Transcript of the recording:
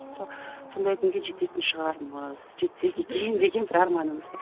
сондай күнге жететін шығармыз жетсек екен деген бір арманымыз